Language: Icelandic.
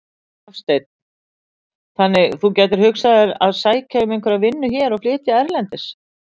Hafsteinn: Þannig þú gætir hugsað þér að sækja um einhverja vinnu hér og flytja erlendis?